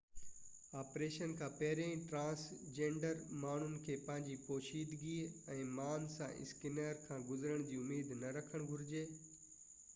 operation کان پهرين transgender ماڻهن کي پنهنجي پوشيدگي ۽ مان سان اسڪينرز کان گذرڻ جي اميد نہ ڪرڻ گهرجي